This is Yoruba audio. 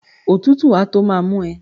Òtútù á tó má mú ẹ